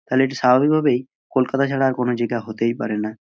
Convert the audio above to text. তালে এটা স্বাভাবিক ভাবেই কলকাতা ছাড়া আর কোনো জিগা হতেই পারে না।